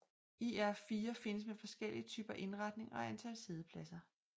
IR4 findes med forskellige typer indretning og antal siddepladser